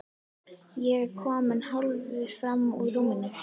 Ég er kominn hálfur fram úr rúminu.